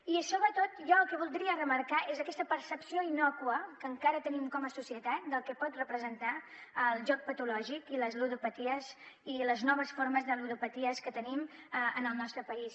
i sobretot jo el que voldria remarcar és aquesta percepció innòcua que encara tenim com a societat del que pot representar el joc patològic i les ludopaties i les noves formes de ludopaties que tenim en el nostre país